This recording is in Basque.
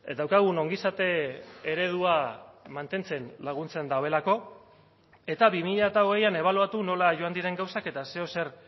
daukagun ongizate eredua mantentzen laguntzen duelako eta bi mila hogeian ebaluatu nola joan diren gauzak eta zeozer